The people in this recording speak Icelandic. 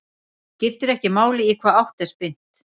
Skiptir ekki máli í hvaða átt er spyrnt.